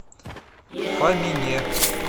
фомине